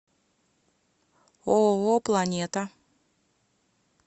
ооо планета